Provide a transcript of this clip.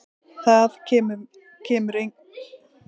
Það kemur engum við.